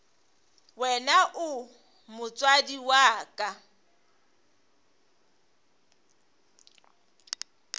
wena o motswadi wa ka